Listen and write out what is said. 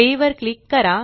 play वर click करा